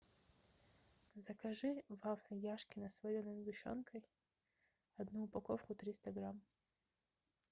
закажи вафли яшкино с вареной сгущенкой одну упаковку триста грамм